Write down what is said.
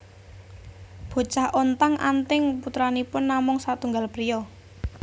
Bocah Ontang anting putranipun namung satunggal priya